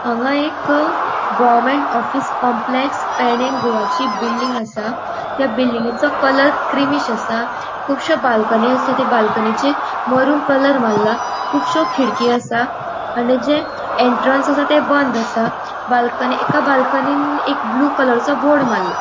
हांगा एक government office complex Pernem Goa गोवाची बिल्डिंग असा थ्य बिल्डिंगसो कलर क्रीमिष असा कुबश्यो बाल्कनी असा थ्य बाल्कनीचे मरून कलर मारला कुबश्यो खिड़की असा आणि जे एन्ट्रन्स असा ते बोंद असा बाल्कनी एका बाल्कनीन एक ब्लू कलरचो बोर्ड मारला.